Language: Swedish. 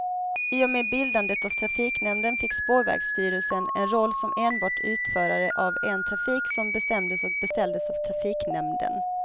I och med bildandet av trafiknämnden fick spårvägsstyrelsen en roll som enbart utförare av en trafik som bestämdes och beställdes av trafiknämnden.